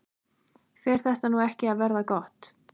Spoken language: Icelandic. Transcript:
Fer þetta nú ekki að verða gott?